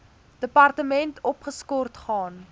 departement opgeskort gaan